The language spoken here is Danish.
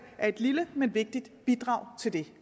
er et lille men vigtigt bidrag til det